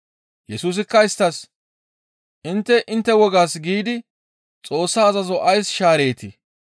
Yesusikka isttas, «Intte intte wogaas giidi Xoossa azazo ays shaareetii?